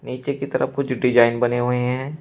नीचे की तरफ कुछ डिजाइन बने हुए हैं।